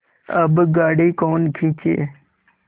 अब गाड़ी कौन खींचे